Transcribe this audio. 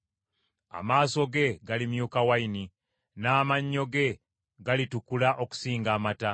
Amaaso ge galimyuka wayini, n’amannyo ge galitukula okusinga amata.